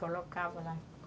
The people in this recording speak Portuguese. Colocava lá.